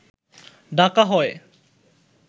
ডাকা হয়